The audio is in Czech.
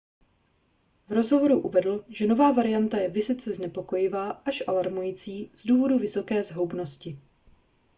v rozhovoru uvedl že nová varianta je vysoce znepokojivá až alarmující z důvodu vysoké zhoubnosti